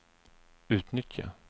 utnyttja